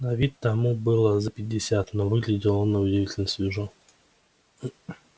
на вид тому было за пятьдесят но выглядел он на удивительно свежо